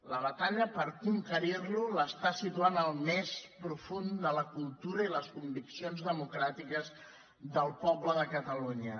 la batalla per conquerirlo el situa al més profund de la cultura i les conviccions democràtiques del poble de catalunya